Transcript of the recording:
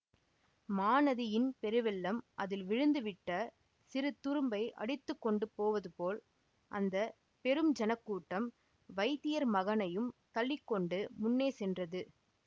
மாநதியின் பெருவெள்ளம் அதில் விழுந்து விட்ட சிறு துரும்பை அடித்து கொண்டு போவதுபோல் அந்த பெரும் ஜனக் கூட்டம் வைத்தியர் மகனையும் தள்ளி கொண்டு முன்னே சென்றது